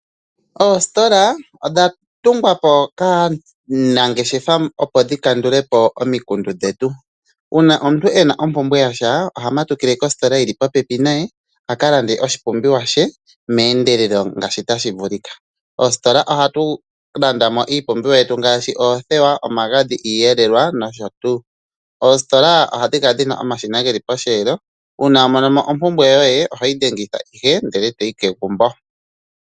Oositola odha tungwapo kaananfeshefa opo dhi kandulepo omikundu dhetu. Uuna omuntu ena ombumbwe yasha, oha matukile kositola yi li popepi naye aka lande oshi pumbiwa she meendelelo ngaashi ta shi vulika. Oositola oha tu landa mo iipumbiwa yetu ngaashi oothewa, omagadhi, iiyelelwa nosho tuu. Oositola oha dhi kala dhina omashina posheelo goku dhengitha.